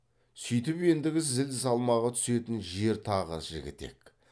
сүйтіп ендігі зіл салмағы түсетін жер тағы жігітек